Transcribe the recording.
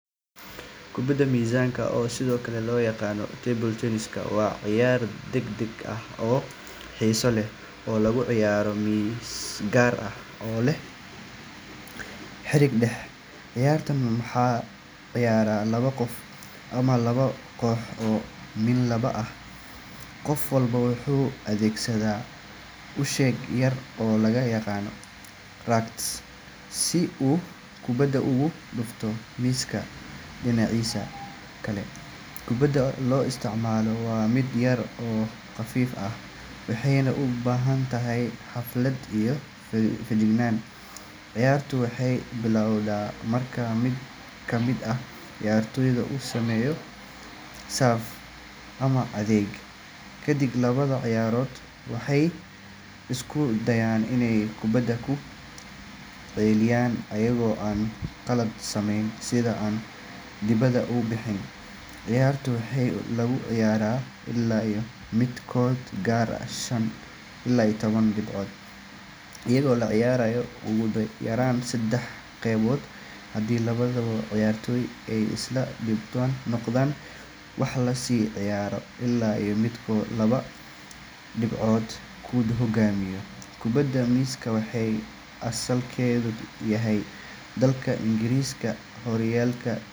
Kubadda miiska, oo sidoo kale loo yaqaan table tennis, waa ciyaar degdeg ah oo xiiso leh oo lagu ciyaaro miis gaar ah oo leh xarig dhexe. Ciyaartan waxaa ciyaara laba qof ama laba koox oo min laba ah. Qof walba wuxuu adeegsadaa ushe yar oo loo yaqaan racket, si uu kubadda ugu dhufto miiska dhinaciisa kale. Kubadda la isticmaalo waa mid yar oo khafiif ah, waxeyna u baahan tahay xirfad iyo feejignaan. Ciyaartu waxay bilowdaa marka mid ka mid ah ciyaartoyda uu sameeyo serve ama adeeg. Kadib, labada ciyaartoyba waxay isku dayaan inay kubadda ku celiyaan iyagoo aan qalad sameyn, sida in kubaddu aysan taabanin xarigga ama aysan dibadda u bixin. Ciyaartu waxaa lagu ciyaaraa ilaa midkood gaaro shan iyo toban dhibcood, iyadoo la ciyaarayo ugu yaraan seddex qaybood. Haddii labada ciyaartoy ay isla dhibco noqdaan, waxaa la sii ciyaaraa ilaa midkood laba dhibcood ku hoggaamiyo. Kubadda miiska waxay asalkeedu yahay dalka Ingiriiska horraantii .